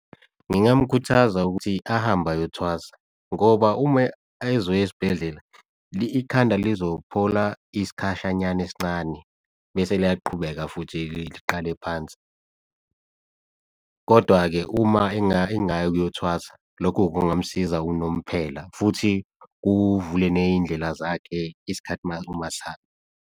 Ngingamukhuthaza ukuthi ahambe ayothwasa ngoba uma ezoya esibhedlela ikhanda lizophola isikhashanyana esincane bese liyaqhubeka futhi liqale phansi. Kodwa-ke uma engaya ukuyothwasa loko kungamsiza unomphela, futhi kuvule ney'ndlela zakhe isikhathi uma sihamba.